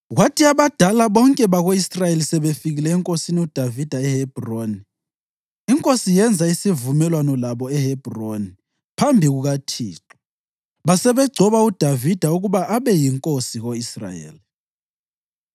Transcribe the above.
Kwathi abadala bonke bako-Israyeli sebefikile enkosini uDavida eHebhroni, inkosi yenza isivumelwano labo eHebhroni phambi kukaThixo, basebegcoba uDavida ukuba abe yinkosi ko-Israyeli.